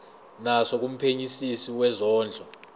naso kumphenyisisi wezondlo